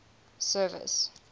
service